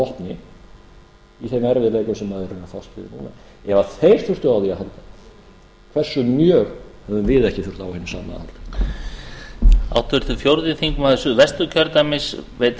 vopni í þeim erfiðleikum sem þeir eru að fást við í núna ef þeir þyrftu á því að halda hversu mjög hefðum við ekki þurft á hinu sama að halda